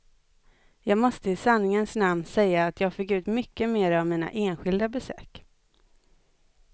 Jag måste i sanningens namn säga att jag fick ut mycket mera av mina enskilda besök.